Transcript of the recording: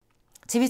TV 2